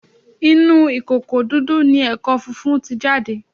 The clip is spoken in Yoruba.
Inú ìkòkò dúdú ni ẹ̀kọ funfun ti jáde